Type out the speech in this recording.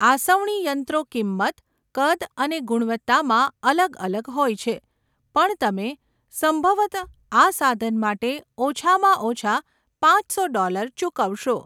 આસવણી યંત્રો કિંમત, કદ અને ગુણવત્તામાં અલગ અલગ હોય છે પણ તમે સંભવત આ સાધન માટે ઓછામાં ઓછા પાંચસો ડૉલર ચૂકવશો.